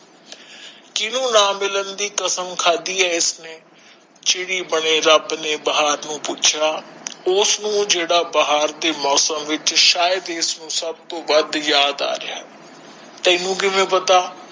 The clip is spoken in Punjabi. ਕੀਨੁ ਨਾ ਮਿਲਣ ਦੀ ਕਸਮ ਖਾਦੀ ਏ ਇਸਨੇ ਬਣੇ ਰੱਬ ਨੇ ਬਾਹਰ ਤੋਂ ਪੁੱਛਿਆ ਉਸ ਨੂੰ ਜੇੜਾ ਬਾਹਰ ਦੇ ਮੌਸਮ ਵਿਚ ਸ਼ਾਇਦ ਹੀ ਇਸਨੂੰ ਸਬ ਤੋ ਵੱਧ ਯਾਦ ਆ ਰਿਹਾ ਹੈ ਤੈਨੂੰ ਕਿੰਵੇ ਪਤਾ